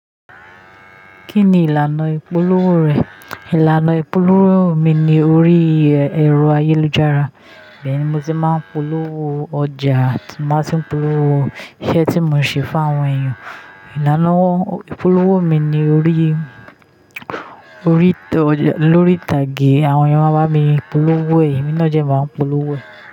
Kí ni ìlànà ìpolówó rẹ̀? Ìlànà ìpolówó mi ni órí ẹ̀rọ ayélujára. Ibẹ́yẹ̀n ni mo ti máa ń polówó ọjà, tì má tun ń polówó iṣẹ́ tí mò ń ṣe fún àwọn èèyàn. Ìlànà ìpolówó mi ni lórí, lórí ìtàgé. Àwọn èèyàn máa bá mi polówó ẹ̀yì, emì naa dẹ́ máa ń polówó ẹ̀yì.